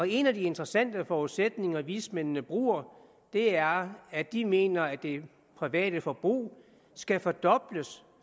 en af de interessante forudsætninger vismændene bruger er at de mener at det private forbrug skal fordobles